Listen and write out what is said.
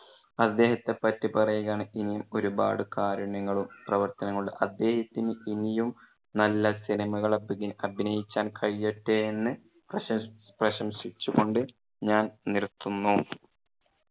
അദ്ദേഹത്തെ പറ്റി പറയുകയാണെങ്കിൽ ഇനിയും ഒരുപാട് കാരുണ്യങ്ങളും, പ്രവർത്തനങ്ങളുണ്ട്. അദ്ദേഹത്തിന് ഇനിയും നല്ല സിനിമകൾ അഭിനയിക്കാൻ കഴിയട്ടെ എന്ന് പ്രശംഎംസി~ പ്രശംസിച്ചു കൊണ്ട് ഞാൻ നിർത്തുന്നു.